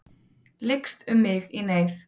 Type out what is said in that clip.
Lykst um mig í neyð.